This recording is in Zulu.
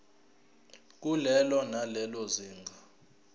kulelo nalelo zinga